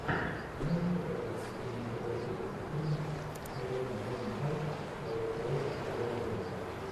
можешь показать кинематографический фильм с хеленой бонем картер человек паук вдали от дома